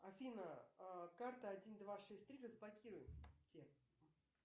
афина карта один два шесть три разблокируйте